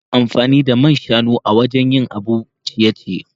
Ana amfani da man shanu wajen yin abun ciye-ciye.